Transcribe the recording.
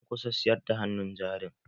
An kusa siyar da hannun jarin